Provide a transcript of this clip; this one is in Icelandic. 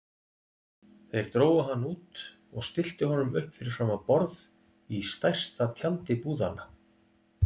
Þeir drógu hann út og stilltu honum upp fyrir framan borð í stærsta tjaldi búðanna.